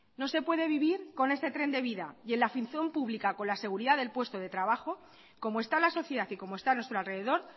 no se puede vivir con este tren de vida y en la función pública con la seguridad del puesto de trabajo como está la sociedad y como está nuestro alrededor